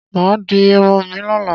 Máa di irun mi lọ́la.